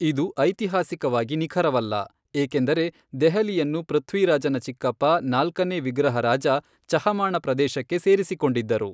ಇದು ಐತಿಹಾಸಿಕವಾಗಿ ನಿಖರವಲ್ಲ, ಏಕೆಂದರೆ ದೆಹಲಿಯನ್ನು ಪೃಥ್ವಿರಾಜನ ಚಿಕ್ಕಪ್ಪ ನಾಲ್ಕನೇ ವಿಗ್ರಹರಾಜ ಚಹಮಾಣ ಪ್ರದೇಶಕ್ಕೆ ಸೇರಿಸಿಕೊಂಡಿದ್ದರು.